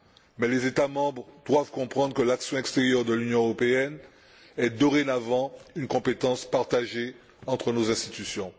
Mais les États membres doivent comprendre que l'action extérieure de l'Union européenne est dorénavant une compétence partagée entre nos institutions.